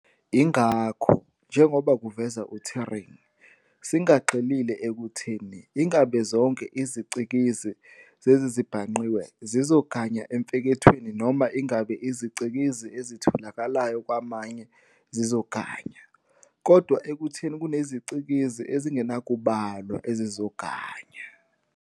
Ingakho, njengoba kuveza uTuring, singagxilile ekutheni "ingabe zonke izicikizi zezezibhangqiwe zizoganya emfekethweni noma ingabe izicikizi ezitholakalayo kwamanje zizoganya, kodwa ekutheni kunezicikizi ezingenakubalwa ezizoganya".